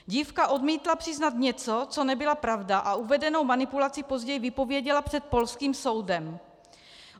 Dívka odmítla přiznat něco, co nebyla pravda, a uvedenou manipulaci později vypověděla před polským soudem.